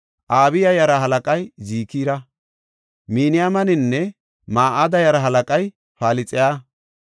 Abiya yaraa halaqay Zikira. Miniyaminanne Ma7ada yaraa halaqay Pilxaya.